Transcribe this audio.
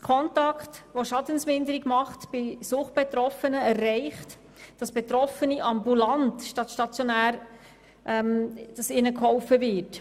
Die Stiftung Contact, welche Schadensminderung bei Suchtbetroffenen betreibt, erreicht, dass Betroffenen ambulant anstatt stationär geholfen wird.